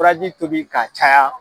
Furaji tobi k'a caya.